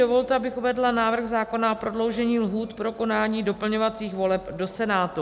Dovolte, abych uvedla návrh zákona o prodloužení lhůt pro konání doplňovacích voleb do Senátu.